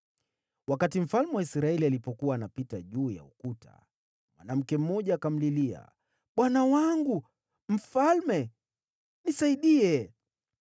Wakati mfalme wa Israeli alipokuwa anapita juu ya ukuta, mwanamke mmoja akamlilia, “Bwana wangu mfalme, nisaidie!”